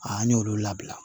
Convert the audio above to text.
A an y'olu labila